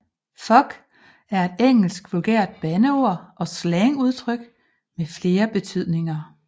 Fuck er et engelsk vulgært bandeord og slangudtryk med flere betydninger